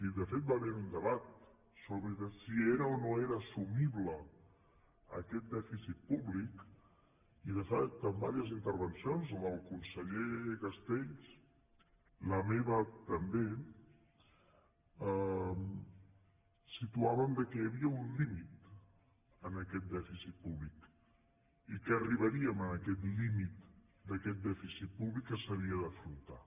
i de fet va haver hi un debat sobre si era o no era assumible aquest dèficit públic i de fet en diverses intervencions la del conseller castells la meva també situaven que hi havia un límit en aquest dèficit públic i que arribaríem en aquest límit d’aquest dèficit públic que s’havia d’afrontar